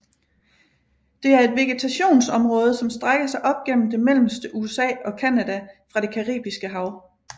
Det er et vegetationsområde som strækker sig op gennem det mellemste USA og Canada fra det Caribiske Hav